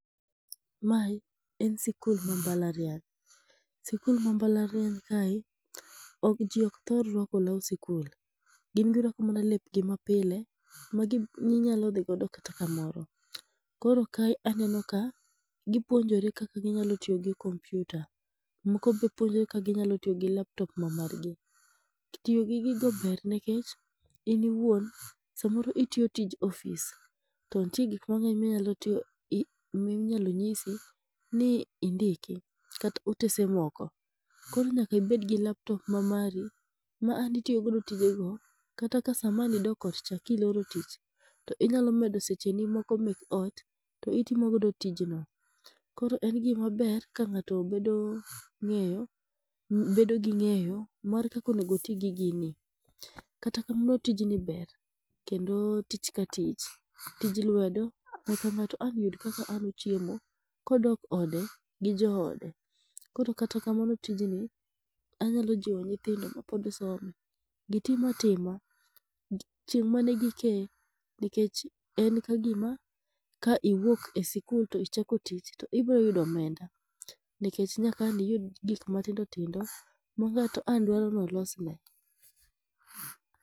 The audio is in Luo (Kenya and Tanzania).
Mae en sikul ma mbalariany. Sikul ma mbalariany kae, ok ji ok thor ruako law sikul. Gin giruako mana lepgi mapile magi minyalo dhi godo kata kamoro. Koro kae aneno ka gipuonjore kaka ginyalo tiyo gi kompiuta. Moko be puonjore kaka ginyalo tiyo gi laptop ma mar gi. Tiyo gi gigo ber nikech in iwuon samoro itiyo tij ofis to nitie gik mang'eny ma nyalo tiyo ma inyalo nyisi ni indiki kata otese moko. Koro nyaka ibed gi laptop ma mari ma ang' itiyo godo tije go, kata ka sama ang' idok ot cha kiloro tich to inyalo medo seche ni moko mek ot to itiyo godo tijno. Koro en gima ber ka ng'ato bedo ng'eyo bedo gi ng'eyo kaka onego oti gi gini. Kata kamano tijni ber kendo tich ka tich, tij lwedo ma ka ng'ato ang' yud kaka ochiemo. Kodok ode gi joode, koro kata kamano tijni, anyalojiwo nyithindo mapod somo, gitim atima, chieng' manigi kee. Nikech en kagima ka iwuok e sikul to ichako to ibiro yudo omenda nikech nyaka ang' niyud gik matindo tindo ma ng'ato ang' nodwar ni olosne.